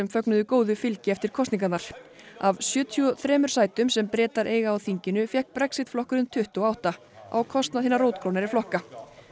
fögnuðu góðu fylgi eftir kosningarnar af sjötíu og þremur sætum sem Bretar eiga á þinginu fékk Brexit flokkurinn tuttugu og átta á kostnað hinna rótgrónari flokka